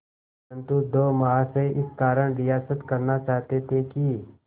परंतु दो महाशय इस कारण रियायत करना चाहते थे कि